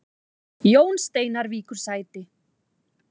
Jón Steinar víkur sæti